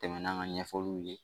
Tɛmɛn'an ka ɲɛfɔliw ye